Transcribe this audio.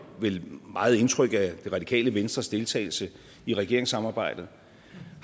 vel meget indtryk af det radikale venstres deltagelse i regeringssamarbejdet